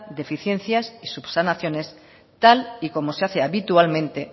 deficiencias y subsanaciones tal y como se hace habitualmente